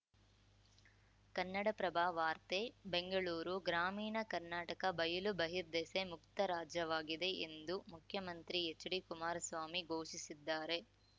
ಕನ್ನಡಪ್ರಭ ವಾರ್ತೆ ಬೆಂಗಳೂರು ಗ್ರಾಮೀಣ ಕರ್ನಾಟಕ ಬಯಲು ಬಹಿರ್ದೆಸೆ ಮುಕ್ತ ರಾಜ್ಯವಾಗಿದೆ ಎಂದು ಮುಖ್ಯಮಂತ್ರಿ ಎಚ್‌ಡಿ ಕುಮಾರಸ್ವಾಮಿ ಘೋಷಿಸಿದ್ದಾರೆ